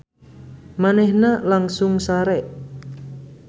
Manehna langsung sare.